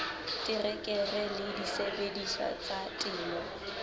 terekere le disebediswa tsa temo